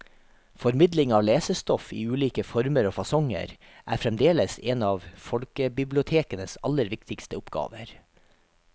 Formidling av lesestoff i ulike former og fasonger er fremdeles en av folkebibliotekenes aller viktigste oppgaver.